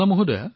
হয় মহোদয়